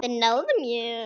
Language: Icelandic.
Þeir náðu mér.